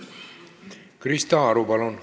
Krista Aru, palun!